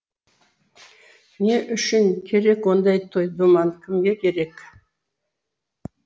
не үшін керек ондай той думан кімге керек